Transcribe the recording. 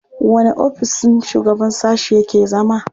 Wanne ofissin shugaban sashe yake zama?